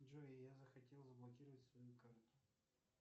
джой я захотел заблокировать свою карту